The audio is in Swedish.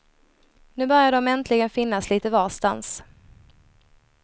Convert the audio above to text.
Nu börjar de äntligen finnas litet varstans.